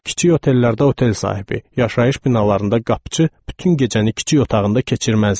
Kiçik otellərdə otel sahibi, yaşayış binalarında qapıçı bütün gecəni kiçik otağında keçirməzdi.